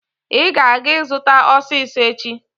I ga-aga izuta osiso echi